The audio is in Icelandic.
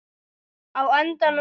Á endanum gafst